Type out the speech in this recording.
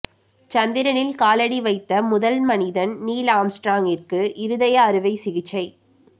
சந்திரனில் காலடி வைத்த முதல் மனிதன் நீல் ஆம்ஸ்ட்ராங்கிற்கு இருதய அறுவை சிகிச்சை